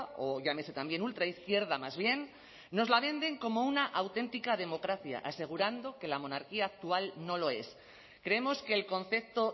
o llámese también ultraizquierda más bien nos la venden como una auténtica democracia asegurando que la monarquía actual no lo es creemos que el concepto